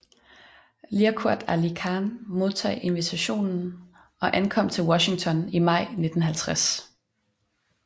Liaquat Ali Khan modtog invitationen og ankom til Washington i maj 1950